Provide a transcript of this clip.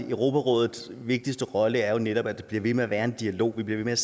europarådets vigtigste rolle er jo netop at der bliver ved med at være en dialog at vi bliver ved med